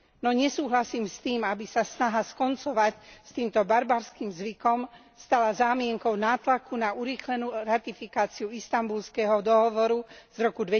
No nesúhlasím s tým, aby sa snaha skoncovať s týmto barbarským zvykom stala zámienkou nátlaku na urýchlenú ratifikáciu Istanbulského dohovoru z roku